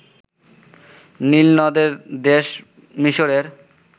নীলনদের দেশ মিসরের